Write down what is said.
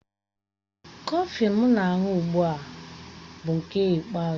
Kọfịn m na-aṅụ ugbu a bụ nke ikpeazụ